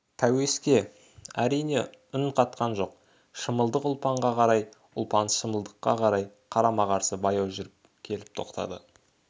пәуеске әрине үн қатқан жоқ шымылдық ұлпанға қарай ұлпан шымылдыққа қарай қарама-қарсы баяу жүріп келіп тоқтады